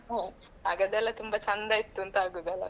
ಹಾಂ ಆಗದೆಲ್ಲ ತುಂಬಾ ಚಂದ ಇತ್ತು ಅಂತ ಆಗುವುದಲ್ಲಾ.